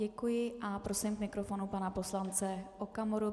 Děkuji a prosím k mikrofonu pana poslance Okamuru.